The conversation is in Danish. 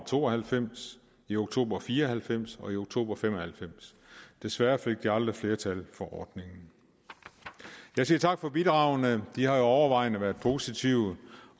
to og halvfems i oktober nitten fire og halvfems og i oktober nitten fem og halvfems desværre fik de aldrig flertal for ordningen jeg siger tak for bidragene de har jo overvejende været positive